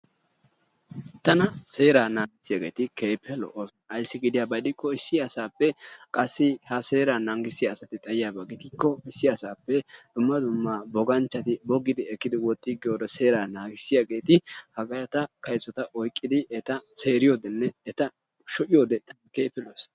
Tana seera naagisiyageeti keehippe lo'oosona. Ayissi gidiyaba gidikko issi asaappe qassi ha seera naagisiyageeti xayiyaaba gidiyakko issi asaappe dumma dumma boganchchati bogidi ekkidi woxxiigiyode seera naagisiyageeti hageeta kayisota oyiqqidi eta seeriyodenne eta shocciyode keehippe lo'ees.